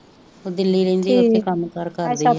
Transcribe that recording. ਉਹ ਦਿੱਲੀ ਰਹਿੰਦੀ ਉਥੇ ਕੰਮ ਕਾਰ ਕਰਦੀ ਆ